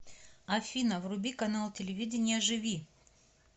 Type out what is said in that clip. афина вруби канал телевидения живи